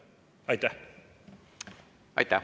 Aitäh!